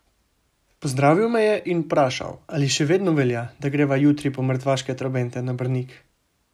Pozdravil me je in vprašal, ali še vedno velja, da greva jutri po mrtvaške trobente na Brnik?